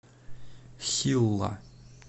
хилла